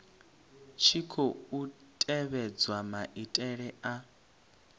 tshi khou tevhedzwa maitele a